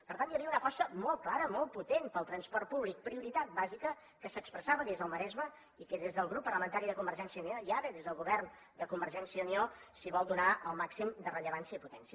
per tant hi havia una aposta molt clara molt potent per al transport públic prioritat bàsica que s’expressava des del maresme i que des del grup parlamentari de convergència i unió i ara des del govern de convergència i unió s’hi vol donar el màxim de rellevància i potència